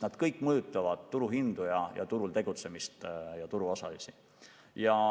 Kõik see mõjutab turuhindu, turul tegutsemist ja turuosalisi.